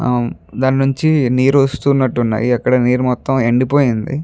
ఆమ్ దాని నుంచి నీరు వస్తునట్టున్నాయీ అక్కడ నీరు మొత్తం ఎండి పోయింది.